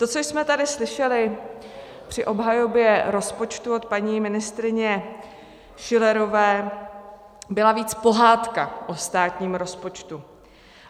To, co jsme tady slyšeli při obhajobě rozpočtu od paní ministryně Schillerové, byla víc pohádka o státním rozpočtu.